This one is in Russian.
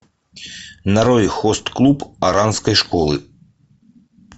нарой хост клуб оранской школы